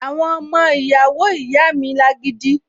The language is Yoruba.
Àwọn ọmọ ìyàwó ìyá mi lágídí